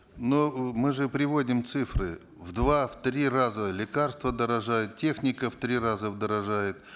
но мы же приводим цифры в два в три раза лекарства дорожают техника в три раза дорожает